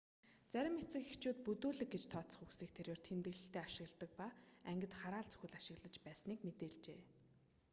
зарим эцэг эхчүүд бүдүүлэг гэж тооцох үгсийг тэрээр тэмдэглэлдээ ашигласан ба ангид хараал зүхэл ашиглаж байсныг мэдээлжээ